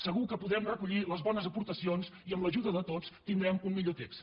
segur que podrem recollir les bones aportacions i amb l’ajuda de tots tindrem un millor text